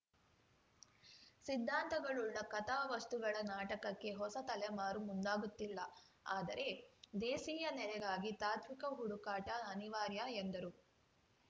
ಸಿದ್ಧಾಂತಗಳುಳ್ಳ ಕಥಾವಸ್ತುಗಳ ನಾಟಕಕ್ಕೆ ಹೊಸ ತಲೆಮಾರು ಮುಂದಾಗುತ್ತಿಲ್ಲ ಆದರೆ ದೇಸೀಯ ನೆಲೆಗಾಗಿ ತಾತ್ವಿಕ ಹುಡುಕಾಟ ಅನಿವಾರ್ಯ ಎಂದರು